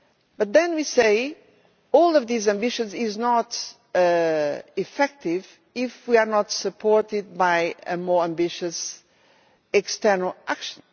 But then we say that none of these ambitions are effective if we are not supported by a more ambitious external action.